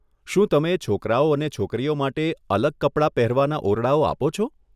શું તમે છોકરાઓ અને છોકરીઓ માટે અલગ કપડા પહેરવાના ઓરડાઓ આપો છો?